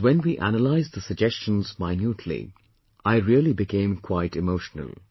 But when we analyzed the suggestions minutely, I really became quite emotional